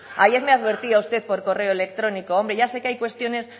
ayer me advertía usted por correo electrónico hombre ya sé que hay cuestiones